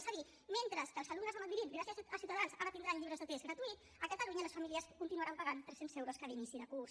és a dir mentre que els alumnes de madrid gràcies a ciutadans ara tindran llibres de text gratuïts a catalunya les famílies continuaran pagant tres cents euros cada inici de curs